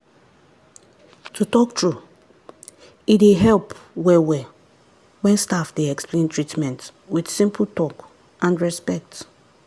to talk true e dey help well well when staff dey explain treatment with simple talk and respect.